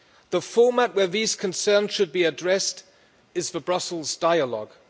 The format where these concerns should be addressed is the Brussels dialogue.